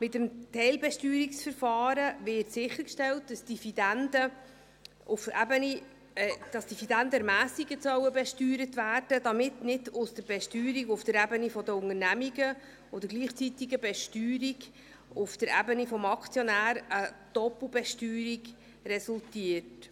Mit dem Teilbesteuerungsverfahren wird sichergestellt, dass die Dividenden ermässigt besteuert werden sollen, damit nicht aus der Besteuerung auf der Ebene der Unternehmungen und der gleichzeitigen Besteuerung auf der Ebene des Aktionärs eine Doppelbesteuerung resultiert.